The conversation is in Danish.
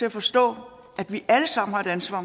at forstå at vi alle sammen har et ansvar